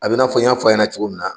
A bɛ n'a fɔ n y' fɔ a ɲɛna cogo min na.